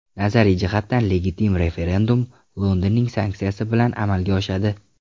Nazariy jihatdan legitim referendum Londonning sanksiyasi bilan amalga oshadi.